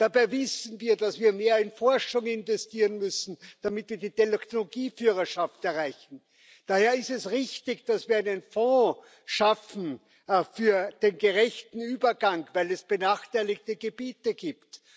Dabei wissen wir, dass wir mehr in Forschung investieren müssen, damit wir die Technologieführerschaft erreichen. Daher ist es richtig, dass wir einen Fonds schaffen für den gerechten Übergang, weil es benachteiligte Gebiete gibt.